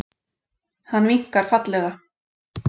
Hann vinkar fallega.